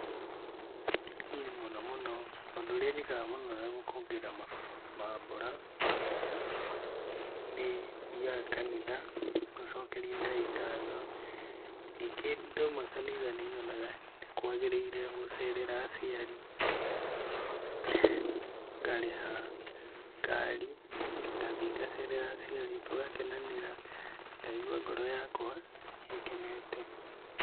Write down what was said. Niĩ mũno mũno, ũndũ ũrĩa njĩkaga mũno na gũkũngũĩra mambura ma bata, nĩthiaga kanitha, ngacokeria Ngai ngatho, ningĩ ndauma kanitha nĩ nyonaga nĩ kwagĩrĩire gũcerera aciari, ngarĩha ngari, ngathiĩ ngacerera aciari tũgakenanĩra, ngaigua ngoro yakwa ikenete.